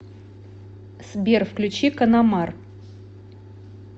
сбер включи канамар